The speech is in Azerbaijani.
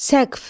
Səqf.